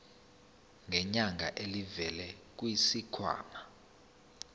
ngenyanga elivela kwisikhwama